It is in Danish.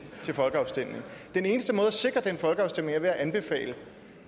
til folkeafstemning den eneste måde at sikre den folkeafstemning på er ved at anbefale